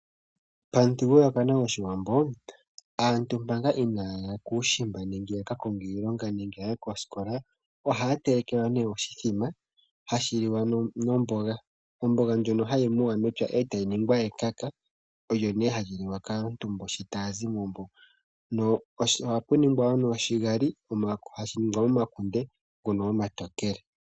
Pamuthigululwakalo goshiwambo aantu manga inaaya ya kuushimba nenge ya kakonge iilonga nenge ya ye koosikola ohaye telekelwa ne oshithima hashi liwa nomboga, omboga ndjono hayi muwa mepya etayi ningwa ekaka olyo nee hali liwa kaantu mbo shi taa zimo mbo, no ohapu ningwa wo noshigali hashi ningwa momakunde ngono omatookele .